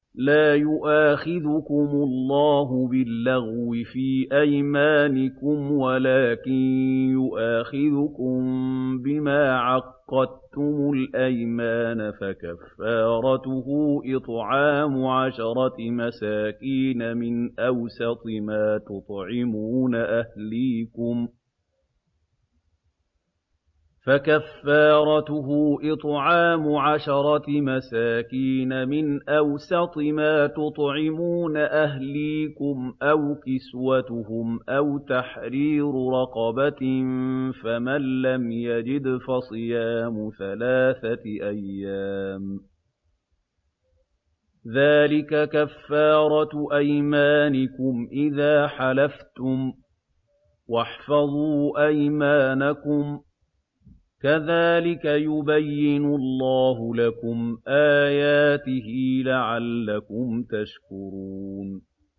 لَا يُؤَاخِذُكُمُ اللَّهُ بِاللَّغْوِ فِي أَيْمَانِكُمْ وَلَٰكِن يُؤَاخِذُكُم بِمَا عَقَّدتُّمُ الْأَيْمَانَ ۖ فَكَفَّارَتُهُ إِطْعَامُ عَشَرَةِ مَسَاكِينَ مِنْ أَوْسَطِ مَا تُطْعِمُونَ أَهْلِيكُمْ أَوْ كِسْوَتُهُمْ أَوْ تَحْرِيرُ رَقَبَةٍ ۖ فَمَن لَّمْ يَجِدْ فَصِيَامُ ثَلَاثَةِ أَيَّامٍ ۚ ذَٰلِكَ كَفَّارَةُ أَيْمَانِكُمْ إِذَا حَلَفْتُمْ ۚ وَاحْفَظُوا أَيْمَانَكُمْ ۚ كَذَٰلِكَ يُبَيِّنُ اللَّهُ لَكُمْ آيَاتِهِ لَعَلَّكُمْ تَشْكُرُونَ